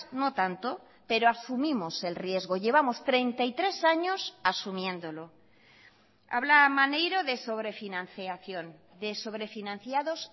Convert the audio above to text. no tanto pero asumimos el riesgo llevamos treinta y tres años asumiéndolo habla maneiro de sobre financiación de sobre financiados